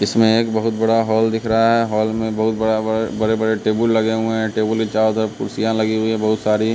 इसमें एक बहुत बड़ा हॉल दिख रहा है हॉल में बहुत बड़ा बड़े बड़े टेबुल लगे हुए हैं टेबुल के चारों तरफ कुर्सियां लगी हुई है बहुत सारी--